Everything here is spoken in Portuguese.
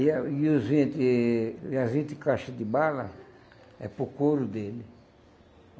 E a e os vinte e as vinte caixa de bala, é para o couro dele.